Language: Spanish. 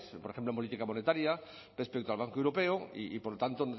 por ejemplo en política monetaria respecto al banco europeo y por lo tanto